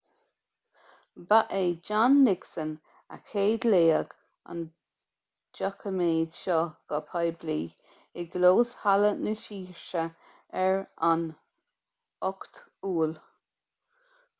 ba é john nixon a chéadléigh an doiciméad seo go poiblí i gclós halla na saoirse ar an 8 iúil